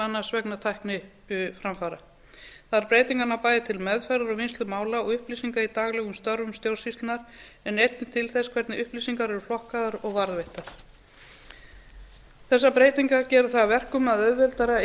annars vegna tækniframfara þær breytingar ná bæði til meðferðar og vinnslu mála og upplýsinga í daglegum störfum stjórnsýslunnar en einnig til þess hvernig upplýsingar eru flokkaðar og varðveittar þessar breytingar gera það að verkum að auðveldara